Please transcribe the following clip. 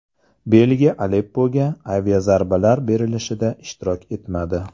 Belgiya Aleppoga aviazarbalar berilishida ishtirok etmadi.